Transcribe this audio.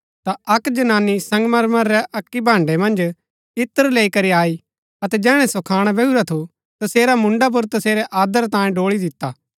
ता अक्क जनानी संगमरमर रै अक्की भाण्ड़ै मन्ज इत्र लैई करी आई अतै जैहणै सो खाणा बैहुरा थु तसेरा मुन्डा पुर तसेरै आदर तांऐ ड़ोळी दिता